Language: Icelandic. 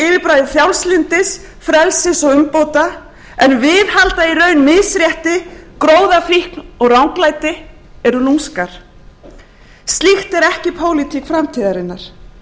yfirbragði frjálslyndis frelsis og umbóta en viðhalda í ranni misrétti gróðafíkn og ranglæti eru lúmskar slíkt er ekki pólitík framtíðarinnar